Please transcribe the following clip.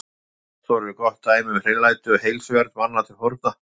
Baðstofur eru gott dæmi um hreinlæti og heilsuvernd manna til forna.